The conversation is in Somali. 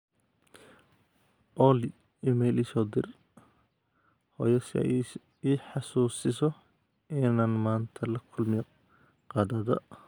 olly iimayl ii soo dir hooyo si ay ii xasuusiso inaan maanta la kulmo qadada